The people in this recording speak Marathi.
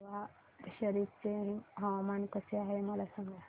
बिहार शरीफ चे हवामान कसे आहे मला सांगा